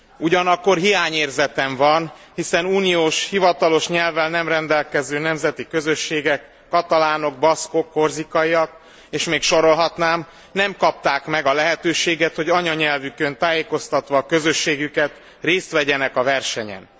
Ugyanakkor hiányérzetem van, hiszen uniós hivatalos nyelvvel nem rendelkező nemzeti közösségek katalánok, baszkok, korzikaiak és még sorolhatnám nem kapták meg a lehetőséget, hogy anyanyelvükön tájékoztatva a közösségüket, részt vegyenek a versenyen.